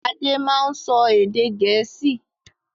Ade máa ń sọ èdè Gẹ̀ẹ́sì.